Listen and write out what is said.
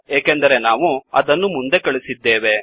ಏಕೆಂದರೆ ನಾವು ಅದನ್ನು ಮುಂದೆ ಕಳಿಸಿದ್ದೇವೆ